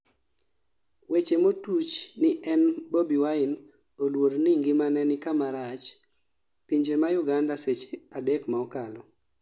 weche motuch ni en Bobi Wine oluor ni ngimane ni kama rach pinje ma Uganda seche adek ma okalo